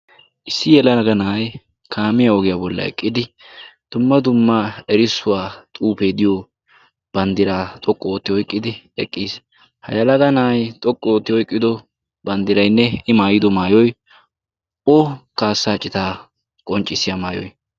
Issi yalaaga na'ay kaamiyaa ogiyaa bolla eqqidi dumma dumma erissuwaa xuufee diyo banddiraa xoqqu ootti oyqqidi eqqiis. ha yalaga na'ay xoqqu ootti oiqqido banddiraynne i maayido maayoy o kaassaa citaa qonccissiya maayoy.